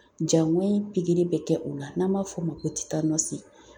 Jangoyi pikiri bɛ kɛ u la, n'an b'a f'o ma ko titanɔsi.